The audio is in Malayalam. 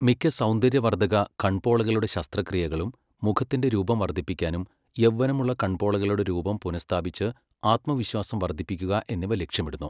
മിക്ക സൗന്ദര്യവർദ്ധ കൺപോളകളുടെ ശസ്ത്രക്രിയകളും മുഖത്തിന്റെ രൂപം വർദ്ധിപ്പിക്കാനും യൗവനമുള്ള കൺപോളകളുടെ രൂപം പുനഃസ്ഥാപിച്ച് ആത്മവിശ്വാസം വർദ്ധിപ്പിക്കുക എന്നിവ ലക്ഷ്യമിടുന്നു.